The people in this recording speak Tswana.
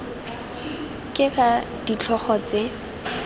k g r ditlhogo tse